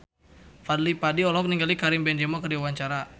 Fadly Padi olohok ningali Karim Benzema keur diwawancara